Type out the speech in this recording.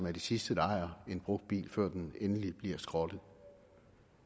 er de sidste der ejer en brugt bil før den endeligt bliver skrottet